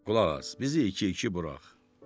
Qulaq as, bizi iki-iki burax.